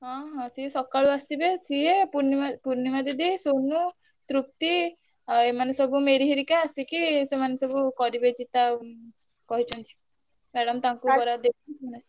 ହଁ ହଁ ସିଏ ସକାଳୁ ଆସିବେ ସିଏ ପୁର୍ଣିମା ପୁର୍ଣିମା ଦିଦି ସୋମୁ ତୃ ~ପ୍ତି ଆଉ ଏମାନେ ସବୁ ମେରି ହରିକା ଆସିକି ସେମାନେ ସବୁ କରିବେ ଚିତା କହିଛନ୍ତି। madam ତାଙ୍କୁ ବରାଦ